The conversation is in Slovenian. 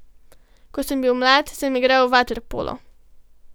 Ko sem bil mlad, sem igral vaterpolo.